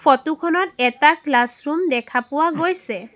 Photo খনত এটা classroom দেখা পোৱা গৈছে।